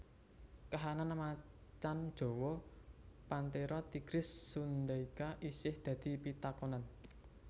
Kahanan macan jawa Panthera tigris sundaica isih dadi pitakonan